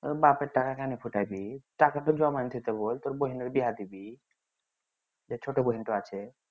বাপের টাকা খানি টাকা তো জমাইন থুইতে বল তোর বহিনের বিহা দিবি যে ছোট বহিন তো আছে